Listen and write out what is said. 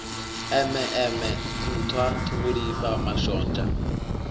eme eme nṱhwa ṱhungulifha mashonzha